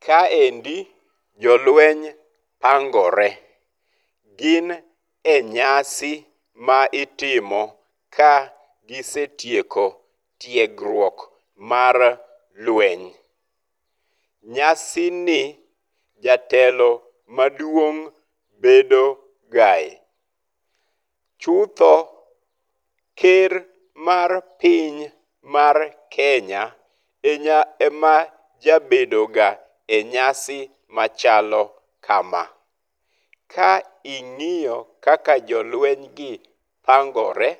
Kaendi jolweny pangore. Gin e nyasi ma itimo ka gisetieko tuegruok mar lweny. Nyasini jatelo maduong' bedogae. Chutho ker mar piny mar Kenya ema jabedo ga enyasi machalo kama. Ka ing'iyo kaka jolweny gi pangore,